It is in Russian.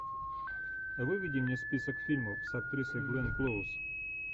выведи мне список фильмов с актрисой гленн клоуз